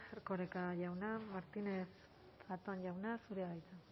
erkoreka jauna martínez zatón jauna zurea da hitza